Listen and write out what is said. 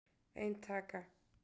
Ein taka